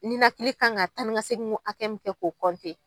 Ninakili kan ka taanikasegin min kɛ k'o .